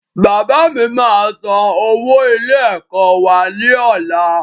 Bàbá mi máa san owó ilé ẹ̀kọ́ wá ní ọ̀la